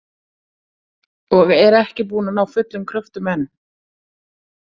Og er ekki búin að ná fullum kröftum enn.